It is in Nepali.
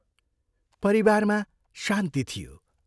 परिवारमा शान्ति थियो।